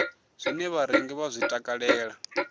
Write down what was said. zwine vharengi vha zwi takalela